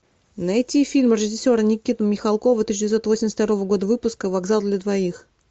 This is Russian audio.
найти фильм режиссера никиты михалкова тысяча девятьсот восемьдесят второго года выпуска вокзал для двоих